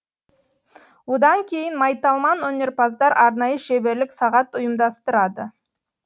одан кейін майталман өнерпаздар арнайы шеберлік сағат ұйымдастырады